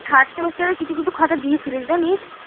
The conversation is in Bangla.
third সেমিস্টারের কিছু কিছু খাতা দিয়েছিলিস জানিশ